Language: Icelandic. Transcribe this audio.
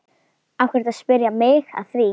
Af hverju ertu að spyrja mig að því?